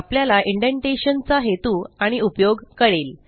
आपल्याला इंडेंटेशन चा हेतू आणि उपयोग कळेल